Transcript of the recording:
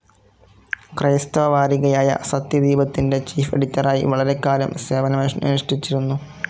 ക്രൈസ്തവ വാരികയായ സത്യദീപത്തിന്റെ ചീഫ്‌ എഡിറ്ററായി വളരെക്കാലം സേവനമനുഷ്ഠിച്ചിരുന്നു.